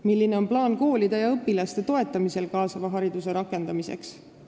Milline on plaan koolide ja õpilaste toetamisel kaasava hariduse rakendamiseks?